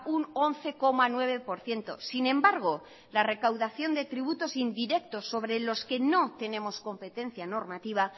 un once coma nueve por ciento sin embargo la recaudación de tributos indirectos sobre los que no tenemos competencia normativa